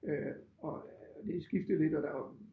Øh og det skifter lidt og der var